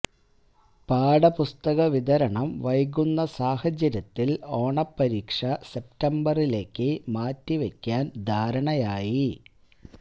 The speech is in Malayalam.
പാഠപുസ്തക വിതരണം വൈകുന്ന സാഹചര്യത്തിൽ ഓണപ്പരീക്ഷ സെപ്തംബറിലേക്ക് മാറ്റി വെക്കാന് ധാരണയായി